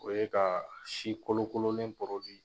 O ye ka si kolokolonlen .